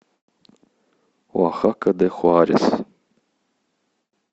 оахака де хуарес